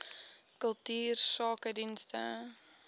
kultuursakedienste